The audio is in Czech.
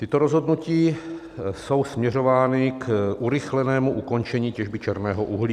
Tato rozhodnutí jsou směřována k urychlenému ukončení těžby černého uhlí.